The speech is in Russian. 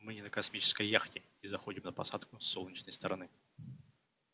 мы не на космической яхте и заходим на посадку с солнечной стороны